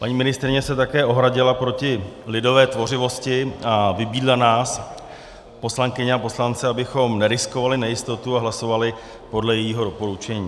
Paní ministryně se také ohradila proti lidové tvořivosti a vybídla nás, poslankyně a poslance, abychom neriskovali nejistotu a hlasovali podle jejího doporučení.